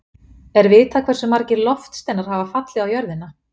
Er vitað hversu margir loftsteinar hafa fallið á jörðina?